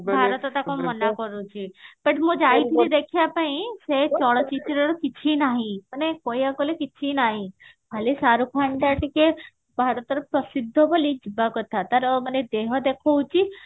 ଭାରତ ତାକୁ ମନା କରୁଛି but ମୁଁ ଯାଇଥିଲି ସେ ଚଳଚିତ୍ର ଦେଖିବା ପାଇଁ ସେ ଚଳଚିତ୍ରର କିଛି ନାହି ମାନେ କହିବାକୁ ଗଲେ କିଛି ନାହି ଖାଲି ସାରୁ ଖାନ ଟା ଟିକେ ଭାରତରେ ପ୍ରସିଦ୍ଧ ବୋଲି ଯିବା କଥା ତାର ମାନେ ଦେହ ଦେଖଉଛି